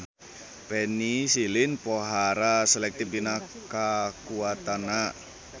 Penisilin pohara selektif dina kakuatanana.